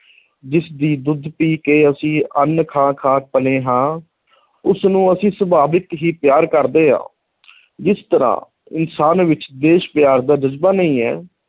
ਜਿਸ ਦੀ ਦੁੱਧ ਪੀ ਕੇ ਅਸੀਂ ਅੰਨ੍ਹ ਖਾ ਖਾ ਪਲੇ ਹਾਂ ਉਸਨੂੰ ਅਸੀਂ ਸੁਭਾਵਕ ਹੀ ਪਿਆਰ ਕਰਦੇ ਹਾਂ ਜਿਸ ਤਰ੍ਹਾਂ ਇਨਸਾਨ ਵਿੱਚ ਦੇਸ਼ ਪਿਆਰ ਦਾ ਜਜ਼ਬਾ ਨਹੀਂ ਹੈ,